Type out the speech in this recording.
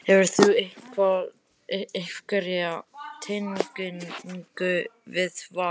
Hefurðu einhverja tengingu við Val?